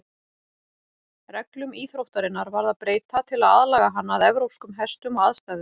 Reglum íþróttarinnar varð að breyta til að aðlaga hana að evrópskum hestum og aðstæðum.